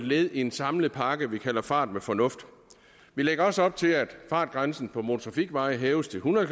led i en samlet pakke vi kalder fart med fornuft vi lægger også op til at fartgrænsen på motortrafikveje hæves til hundrede